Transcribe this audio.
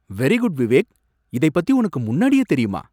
Very good Vivek! இதைப் பத்தி உனக்கு முன்னாடியே தெரியுமா?